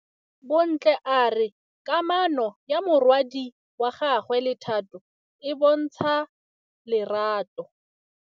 Bontle a re kamanô ya morwadi wa gagwe le Thato e bontsha lerato.